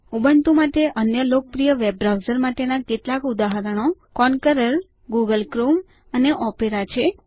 Ubuntu માટે અન્ય લોકપ્રિય વેબ બ્રાઉઝર્સ માટેના કેટલાક ઉદાહરણો કોન્કરર ગુગલ ક્રોમ અને ઓપેરા છે